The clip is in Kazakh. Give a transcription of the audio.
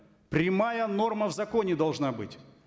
прямая норма в законе должна быть